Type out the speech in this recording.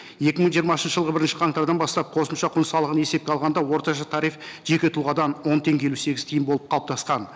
екі мың жиырмасыншы жылғы бірінші қаңтардан бастап қосымша құн салығын есепке алғанда орташа тариф жеке тұлғадан он теңге елу сегіз тиын болып қалыптасқан